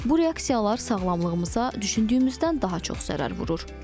Bu reaksiyalar sağlamlığımıza düşündüyümüzdən daha çox zərər vurur.